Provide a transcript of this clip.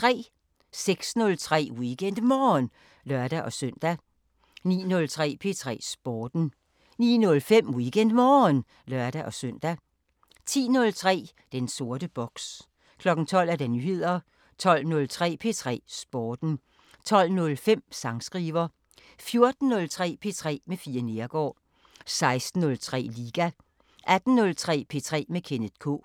06:03: WeekendMorgen (lør-søn) 09:03: P3 Sporten 09:05: WeekendMorgen (lør-søn) 10:03: Den sorte boks 12:00: Nyheder 12:03: P3 Sporten 12:05: Sangskriver 14:03: P3 med Fie Neergaard 16:03: Liga 18:03: P3 med Kenneth K